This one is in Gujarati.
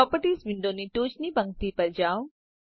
પ્રોપર્ટીઝ વિન્ડોની ટોચની પંક્તિ પર જાઓ